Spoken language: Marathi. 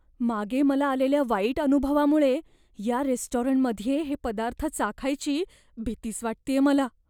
मागे मला आलेल्या वाईट अनुभवामुळे या रेस्टॉरंटमध्ये हे पदार्थ चाखायची भीतीच वाटतेय मला.